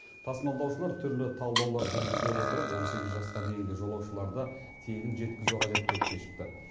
тасымалдаушылар түрлі талдаулар жүргізе отырып он сегіз жасқа дейінгі жолаушыларды тегін жеткізу қажет деп шешіпті